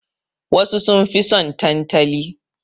Wasu sun fi son tantali.